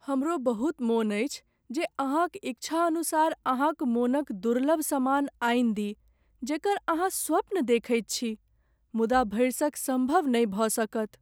हमरो बहुत मन अछि जे अहाँक इच्छा अनुसार अहाँक मनक दुर्लभ सामान आनि दी जेकर अहाँ स्वप्न देखैत छी मुदा भरिसक संभव नहि भऽ सकत।